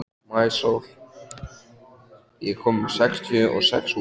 Maísól, ég kom með sextíu og sex húfur!